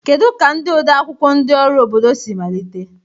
Kedu ka ndị odeakwụkwọ ndị ọrụ obodo si malite?